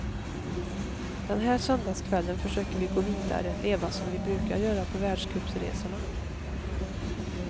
Den här söndagskvällen försöker vi gå vidare, leva som vi brukar göra på världscupsresorna.